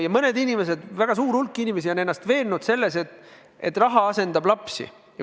Ja mõned inimesed, väga suur hulk inimesi on ennast veennud selles, et raha asendab lapsi.